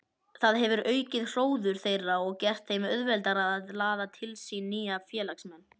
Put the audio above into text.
Það hefur aukið hróður þeirra og gert þeim auðveldara að laða til sín nýja félagsmenn.